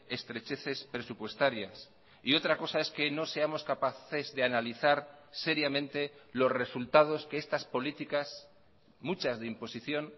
estrecheces presupuestarias y otra cosa es que no seamos capaces de analizar seriamente los resultados que estas políticas muchas de imposición